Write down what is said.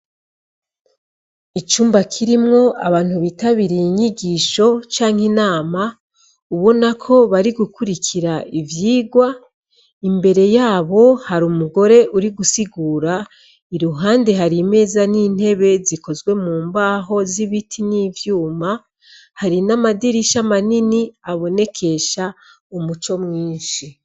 Icumba kirimwo abantu bitabiriye inyigisho canke inama, ubonako bari gukurikira ivyigwa, imbere yabo hari umugore uri gusigasira. Iruhande hari imeza n'intebe zikozwe mu mbaho z'ibiti n'ivyuma. Hari n'amadirisha manini, abonekesha umuco mwinshi.